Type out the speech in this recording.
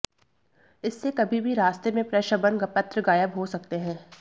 इससे कभी भी रास्ते में प्रशभन पत्र गायब हो सकते हैं